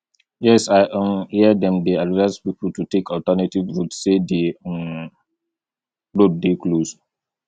yes i um hear dem dey advise people to take alternative route say di um road dey close